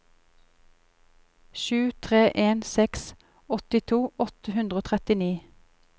sju tre en seks åttito åtte hundre og trettini